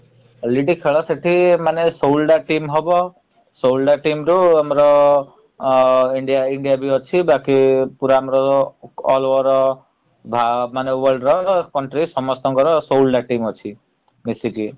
already ଖେଳ ସେଠି ମାନେ ଷୋହଳଟା team ହବ । ଷୋହଳଟା team ରୁ ଆମର ଆ IndiaIndia ବି ଅଛି ବାକି ପୁରା ଆମର all over world ର ସମସ୍ତଙ୍କର ଷୋହଳ ଟା team ଅଛି ମିସିକି ।